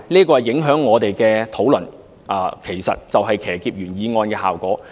這影響到我們的討論，造成騎劫原議案的效果。